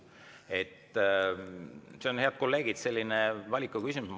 See on, head kolleegid, selline valikuküsimus.